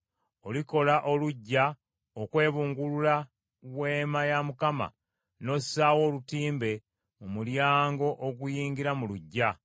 Olikola oluggya okwebungulula Weema ya Mukama , n’ossaawo olutimbe mu mulyango oguyingira mu luggya.